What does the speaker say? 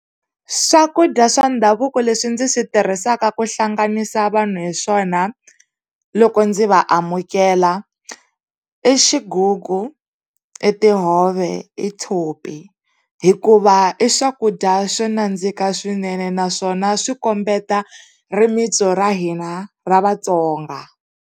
Swakudya swa ndhavuko leswi ndzi swi tirhisaka ku hlanganisa vanhu hi swona loko ndzi va amukela, i xigugu, i tihove i tshopi hikuva i swakudya swo nandzika swinene naswona swi kombeta rimintsu ra hina ra Vatsonga.